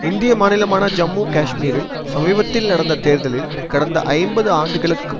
இந்திய மாநிலமான ஜம்மு காஷ்மீரில் சமீபத்தில் நடந்த தேர்தலில் கடந்த ஐம்பது ஆண்டுகளுக்கு